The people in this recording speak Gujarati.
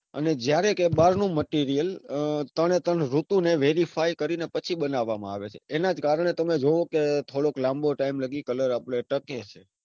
અને જયારે કઈ બાર નું material ત્રણે ત્રણ ઋતુને verify કરીને પછી બનાવામાં આવે છે. એના જ કારણે તમે જૉવોકે થોડો લાંબો time સુધી colour આપડે ટકે છે.